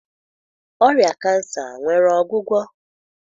Ọrịa cancer nwere ọgwụgwọ?